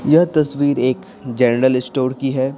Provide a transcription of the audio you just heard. यह तस्वीर एक जनरल स्टोर की है ।